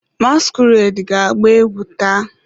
Masquerade ga-agba egwu taa?